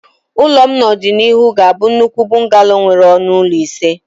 Ụlọ m n'ọdịnihu ga-abụ nnukwu bungalow nwere ọnụ ụlọ ise